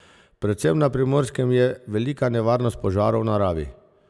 Predvsem na Primorskem je velika nevarnost požarov v naravi.